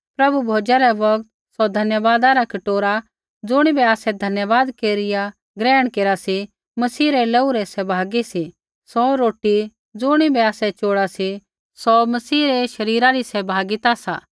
प्रभु भोजा रै बौगत सौ धन्यवादा रा कटोरा ज़ुणिबै आसै धन्यवाद केरिया ग्रहण केरा सी मसीह रै लोहू रै सहभागी सी सौ रोटी ज़ुणिबै आसै चोड़ा सी सौ मसीह रै शरीरा री सहभागिता सा